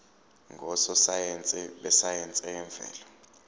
ngososayense besayense yemvelo